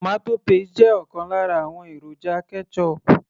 tomato paste jẹ́ ọ̀kan lára àwọn èròjà ketchup